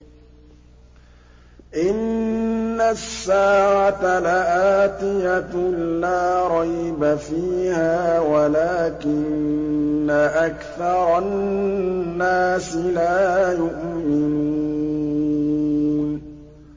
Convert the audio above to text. إِنَّ السَّاعَةَ لَآتِيَةٌ لَّا رَيْبَ فِيهَا وَلَٰكِنَّ أَكْثَرَ النَّاسِ لَا يُؤْمِنُونَ